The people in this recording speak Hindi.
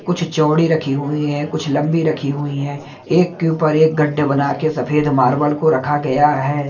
कुछ चौड़ी रखी हुई है कुछ लंबी रखी हुई हैं एक के ऊपर एक गड्ढे बना के सफेद मार्बल को रखा गया है।